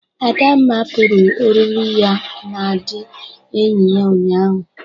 Adamma pụrụ oriri ya na ndị enyi ya ụnyaahụ.